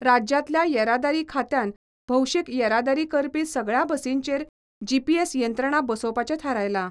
राज्यांतल्या येरादारी खात्यान भोवशीक येरादारी करपी सगळ्यां बसींचेर जीपीएस यंत्रणा बसोवपाचें थारायलां.